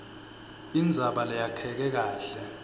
indzaba leyakheke kahle